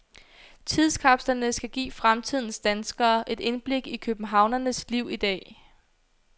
Tidskapslerne skal give fremtidens danskere et indblik i københavnerens liv i dag.